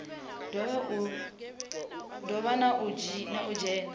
do vha na u dzhena